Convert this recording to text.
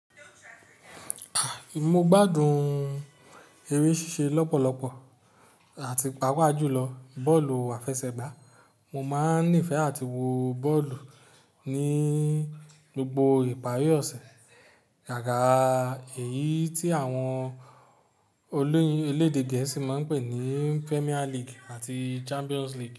A! Mo gbádùn eré ṣíṣe lọ́pọ̀lọpọ̀ àti pàápàá jùlọ bọ́ọ̀lù àfẹsẹ̀gbá. Mo máa ń nífẹ̀ẹ́ àti wo bọ́ọ̀lù ní gbogbo ìparí ọ̀sẹ̀, gáàga Èyí tí àwọn elédè Gẹ̀ẹ́sì máa ń pè ní Premier League àti Champions League.